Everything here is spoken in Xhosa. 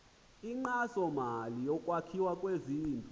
inkxasomali yokwakhiwa kwezindlu